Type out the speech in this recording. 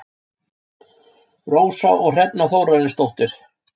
Rósa og Hrefna Þórarinsdóttir.